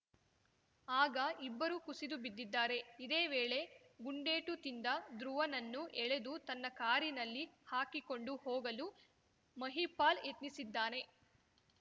ಆಗ ಇಬ್ಬರೂ ಕುಸಿದು ಬಿದ್ದಿದ್ದಾರೆ ಇದೇ ವೇಳೆ ಗುಂಡೇಟು ತಿಂದ ಧ್ರುವನನ್ನು ಎಳೆದು ತನ್ನ ಕಾರಿನಲ್ಲಿ ಹಾಕಿಕೊಂಡು ಹೋಗಲು ಮಹಿಪಾಲ್‌ ಯತ್ನಿಸಿದ್ದಾನೆ